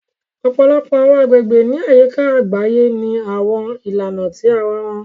Ọ̀pọ̀lọpọ̀ àwọn àgbègbè ní àyíká àgbáyé ní àwọn ìlànà tí ara wọn